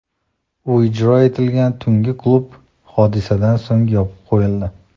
U ijro etilgan tungi klub hodisadan so‘ng yopib qo‘yildi.